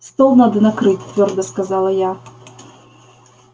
стол надо накрыть твёрдо сказала я